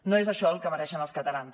no és això el que mereixen els catalans